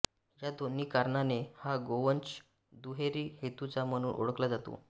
या दोन्ही कारणाने हा गोवंश दुहेरी हेतूचा म्हणून ओळखला जातो